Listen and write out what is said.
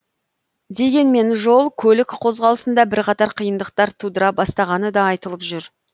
дегенмен жол көлік қозғалысында бірқатар қиындықтар тудыра бастағаны да айтылып жүр